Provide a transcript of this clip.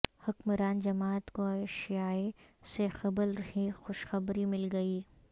حکمران جماعت کو عشایئے سے قبل ہی خوشخبری مل گئی